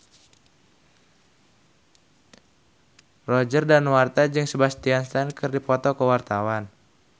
Roger Danuarta jeung Sebastian Stan keur dipoto ku wartawan